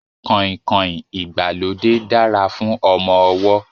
Kọ̀ìnkọ̀ìn ìgbàlódé dára fún ọmọ ọwọ́